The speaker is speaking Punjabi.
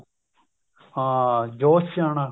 ਹਾਂ ਜ਼ੋਸ ਚ ਆਉਣਾ